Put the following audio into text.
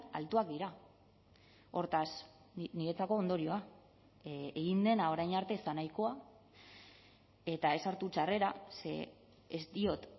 altuak dira hortaz niretzako ondorioa egin dena orain arte ez da nahikoa eta ez hartu txarrera ze ez diot